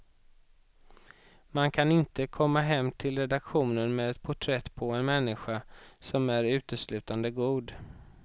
Man kan inte komma hem till redaktionen med ett porträtt på en människa som är uteslutande god.